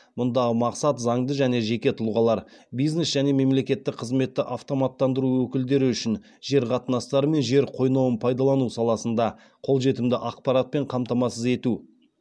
мұндағы мақсат заңды және жеке тұлғалар бизнес және мемлекеттік қызметті автоматтандыру өкілдері үшін жер қатынастары мен жер қойнауын пайдалану саласында қолжетімді ақпаратпен қамтамасыз ету